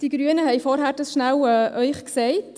Die Grünen haben Ihnen dies vorhin kurz gesagt.